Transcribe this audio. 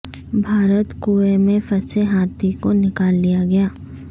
بھارت کنوئیں میں پھنسے ہاتھی کو نکال لیا گیا